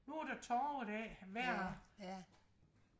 nu er der torve dag hver